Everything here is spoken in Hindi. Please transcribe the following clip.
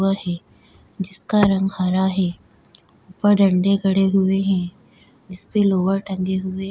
हुआ है जिसका रंग हरा है ऊपर डंडे गड़े हुए हैं जिस पे लोवर टंगे हुए --